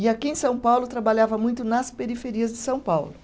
E aqui em São Paulo, trabalhava muito nas periferias de São Paulo.